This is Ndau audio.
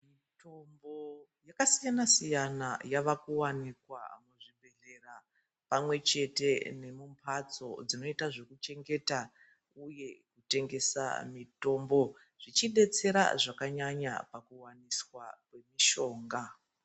Mitombo yakasiyana siyana yave kuwanikwa kuzvibhedhleya pamwe chete nekumbhatso dzinoita zvekuchengeta uye kutengesa mitombo. Zvichidetsera zvakanyanya pakuwanisa mishonga.